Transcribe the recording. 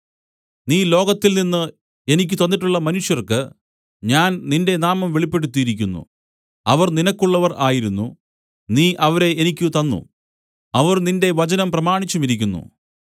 നീ ലോകത്തിൽനിന്ന് എനിക്ക് തന്നിട്ടുള്ള മനുഷ്യർക്ക് ഞാൻ നിന്റെ നാമം വെളിപ്പെടുത്തിയിരിക്കുന്നു അവർ നിനക്കുള്ളവർ ആയിരുന്നു നീ അവരെ എനിക്ക് തന്നു അവർ നിന്റെ വചനം പ്രമാണിച്ചുമിരിക്കുന്നു